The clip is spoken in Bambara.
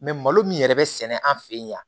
malo min yɛrɛ bɛ sɛnɛ an fɛ yen